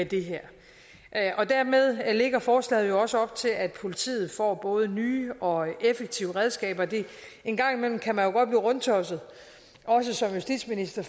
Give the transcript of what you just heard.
det her dermed lægger forslaget jo også op til at politiet får både nye og effektive redskaber engang imellem kan man rundtosset også som justitsminister